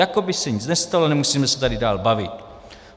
Jako by se nic nestalo, nemusíme se tady dál bavit.